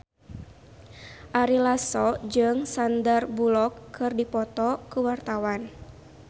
Ari Lasso jeung Sandar Bullock keur dipoto ku wartawan